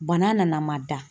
Bana nana n ma da.